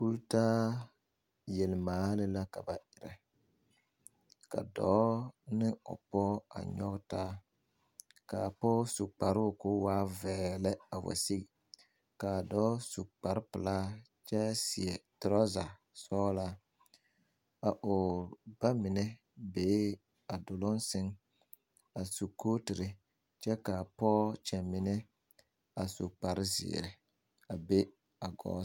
Kulltaa yelmaale la ka ba erɛ ka dɔɔ ne o pɔge nyɔge taa ka a pɔge su kparoo ko waa vɛɛlɛ wa sigi ka a dɔɔvsu kparre pelaa kyɛ seɛ toraza suglaa o ba mine bee a duluŋ sɛŋ a u kootere kyɛ ka a pɔge kyɛmmine a su kparre zeere a be.